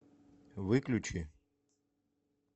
выключи